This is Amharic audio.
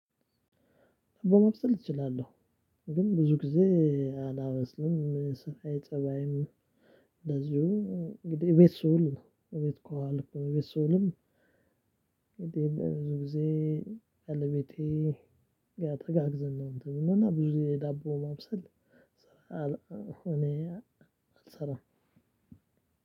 ምግብ ማብሰል እችላለሁ። ግን ብዙ ጊዜ አላበስልም ስራዬ ጸባዬም። እንደዚሁ እንግዲህ ቤት ስውል ነው ቤት ከዋልኩ ቤት ስውልም። እንግዲህ ብዙ ጊዜ ባለቤቴ ጋ ተጋግዘን ነው። እንትን እና ብዙ ጊዜ ዳቦ ማብሰል። እኔ አልሰራም